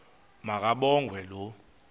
ma kabongwe low